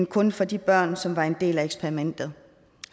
kun for de børn som var en del af eksperimentet